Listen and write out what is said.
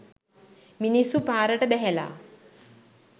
මිනිස්සු පාරට බැහැලා.